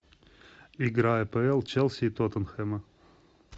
игра апл челси и тоттенхэма